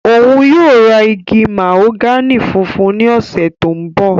Oun yóò ra igi mahogani funfun ni ọsẹ to nbọ.